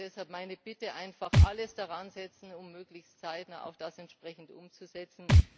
Deshalb meine Bitte, einfach alles daran zu setzen, um das möglichst zeitnah auch entsprechend umzusetzen.